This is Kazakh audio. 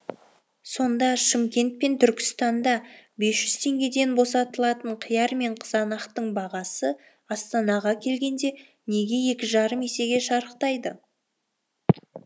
сонда шымкент пен түркістанда бес жүз теңгеден босатылатын қияр мен қызанақтың бағасы астанаға келгенде неге екі жарым есеге шарықтайды